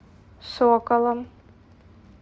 соколом